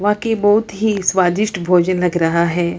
वाकई बहुत ही स्वादिष्ट भोजन लग रहा है।